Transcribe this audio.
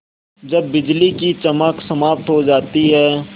जब बिजली की चमक समाप्त हो जाती है